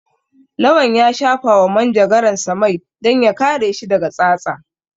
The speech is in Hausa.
Lawan ya shafawa manjagaransa mai don ya kare shi daga tsatsa.